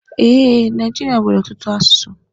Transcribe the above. E, Naijiria nwere ọtụtụ asụsụ.